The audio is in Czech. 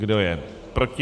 Kdo je proti?